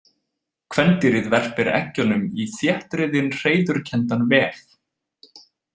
Kvendýrið verpir eggjunum í þéttriðinn hreiðurkenndan vef.